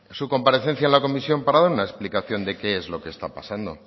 su comparecencia en la comisión para dar una explicación de qué es lo que está pasando